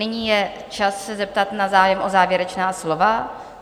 Nyní je čas se zeptat na zájem o závěrečná slova.